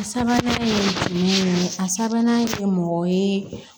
A sabanan ye fini ninnu a sabanan ye mɔgɔ ye